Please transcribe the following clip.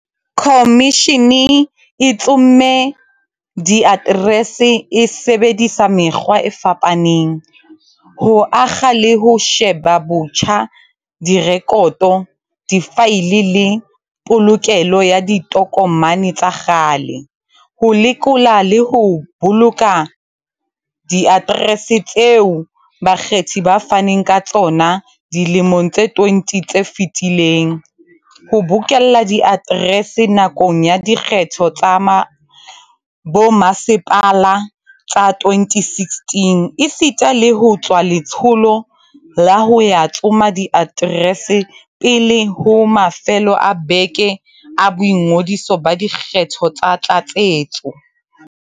Khomishene e tsomme diaterese e sebedisa mekgwa e fapa neng, ho akga le ho sheba botjha direkoto, difaele le polokelo ya ditokomane tsa kgale, ho lekola le ho boloka diaterese tseo bakgethi ba faneng ka tsona dilemong tse 20 tse fetileng, ho bokella diaterese nakong ya dikgetho tsa bomasepala tsa 2016, esita le ho tswa letsholo la ho ya tsoma diaterese pele ho mafelo a beke a boingodiso ba dikgetho tsa tlatsetso.